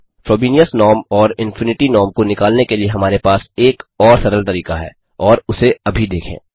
Frobenius norm और infinity norm को निकालने के लिए हमारे पास एक और सरल तरीका है और उसे अभी देखें